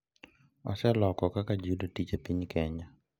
Oseloko kaka ji yudo tich e piny Kenya.